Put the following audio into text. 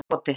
Hagakoti